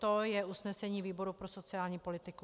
To je usnesení výboru pro sociální politiku.